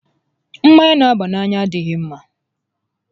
Mmanya n'àbá n'anya adịghị ḿmá